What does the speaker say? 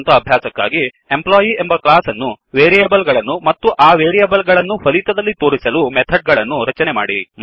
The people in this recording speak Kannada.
ಸ್ವಂತ ಅಭ್ಯಾಸಕ್ಕಾಗಿ ಎಂಪ್ಲಾಯಿ ಎಂಬ ಕ್ಲಾಸ್ ಅನ್ನು ವೇರಿಯೇಬಲ್ ಗಳನ್ನು ಮತ್ತು ಆ ವೇರಿಯೇಬಲ್ ಗಳನ್ನು ಫಲಿತದಲ್ಲಿ ತೋರಿಸಲು ಮೆಥಡ್ ಗಳನ್ನು ರಚನೆ ಮಾಡಿ